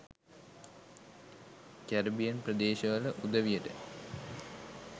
Caribbean ප්‍රදේශවල උදවියට